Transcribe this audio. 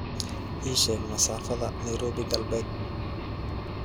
ii sheeg masaafada nairobi galbeed